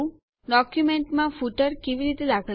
ડોક્યુંમેન્ટોમાં ફૂટરો કેવી રીતે દાખલ કરવા